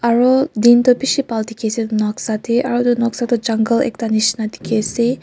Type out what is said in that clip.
Aro din tuh beshi phal dekhi ase noksa dae aro etu noksa to jungle ekta neshina dekhi ase.